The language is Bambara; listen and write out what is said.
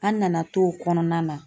An nana t'o kɔnɔna na.